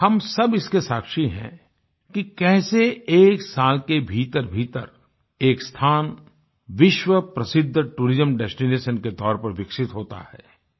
हम सब इसके साक्षी हैं कि कैसे एक साल के भीतरभीतर एक स्थान विश्व प्रसिद्ध टूरिज्म डेस्टिनेशन के तौर पर विकसित होता है